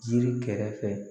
Jiri kɛrɛfɛ